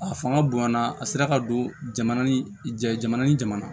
A fanga bonyana a sera ka don jamana ni jamana ni jamana